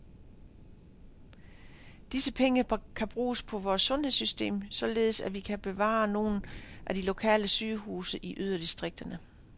Disse penge kan bruges på vores sundhedssystem, således at vi kan bevare nogle af de lokale sygehuse i yderdistrikterne.